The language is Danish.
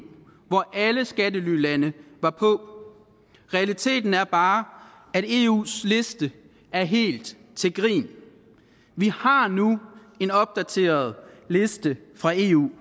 hvor alle skattelylande var på realiteten er bare at eus liste er helt til grin vi har nu en opdateret liste fra eu